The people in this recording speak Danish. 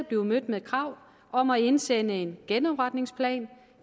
blive mødt med krav om at indsende en genopretningsplan